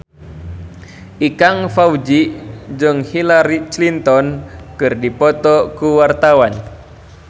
Ikang Fawzi jeung Hillary Clinton keur dipoto ku wartawan